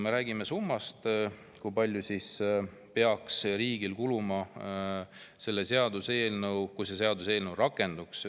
Räägime summast, kui palju peaks riigil kuluma, lisakulusid tekkima, kui see seadus rakenduks.